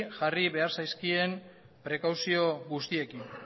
jarri zaizkien prekauzio guztiekin